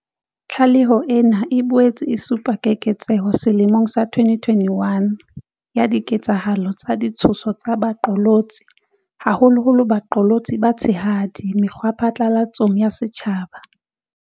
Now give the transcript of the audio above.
Tlaleho ena e boetse e supa keketseho selemong sa 2021 ya diketsahalo tsa ditshoso tsa baqolotsi, haholoholo baqolotsi ba batshehadi mekgwaphatlalatsong ya setjhaba.